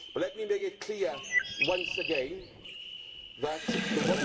But let me make it clear once again that the